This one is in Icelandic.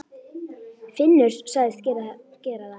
Finnur sagðist gera það.